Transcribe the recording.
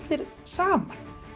saman